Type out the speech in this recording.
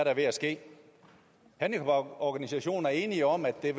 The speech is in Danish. er ved at ske handicaporganisationerne er enige om at det